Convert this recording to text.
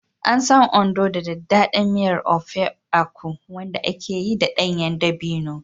An san Ondo da daɗaɗɗen miyar Ofe Akwu, wanda aka yi da ɗanyen dabino.